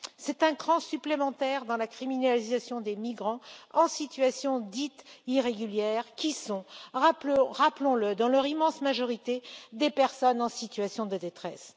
C'est un cran supplémentaire dans la criminalisation des migrants en situation dite irrégulière qui sont, rappelons le, dans leur immense majorité, des personnes en situation de détresse.